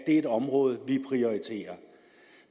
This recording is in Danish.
er et område vi prioriterer